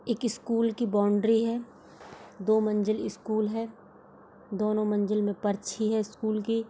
एक स्कूल की बाउंड्री है दो मंजिल स्कूल है दोनों मंजिल में परछी है स्कूल की |